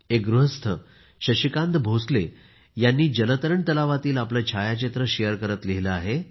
एक गृहस्थ शशिकांत भोसले यांनी जलतरण तलावातील आपले छायचित्र शेअर करत लिहिले आहे